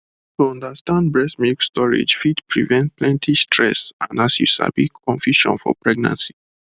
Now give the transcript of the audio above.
to understand breast milk storage fit prevent plenty stress and as you sabi confusion for pregnancy